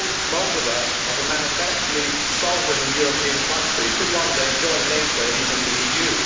Moldova, as a manifestly sovereign and European country, could one day join NATO and even the EU.